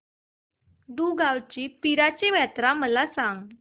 दुगावची पीराची यात्रा मला सांग